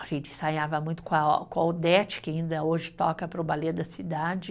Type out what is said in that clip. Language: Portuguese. A gente ensaiava muito com a, com a Odete, que ainda hoje toca para o Balé da Cidade.